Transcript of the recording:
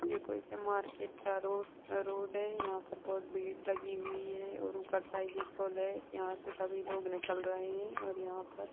यह कोई से मार्केट का रोड रोड है यहाँ पर बहुत भीड़ लगी हुई है और ऊपर साइड पुल है यहाँ से सभी लोग निकल रहे हैं और यहाँ पर--